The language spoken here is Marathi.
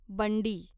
बंडी